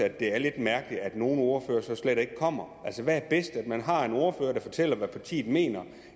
at det er lidt mærkeligt at nogle ordførere slet ikke kommer altså hvad er bedst at man har en ordfører der fortæller hvad partiet mener